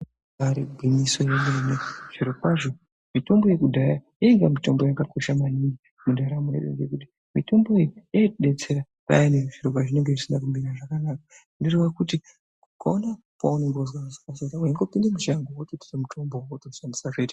Ibaari gwinyiso yemene zvirokwazvo mitombo yekudhaya yainga mitombo yakakosha maningi mundaramo yedu ngekuti mitombo iyi yaitidetsera payani zviro pazvinenge zvisina kumira zvakanaka. Zvinoreva kuti ukaona paunenge wazwa hosha waingooinda mushango wototra mutombo wako wotoshandisa, zvoita.